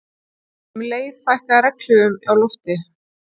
Um leið fækkaði regnhlífum á lofti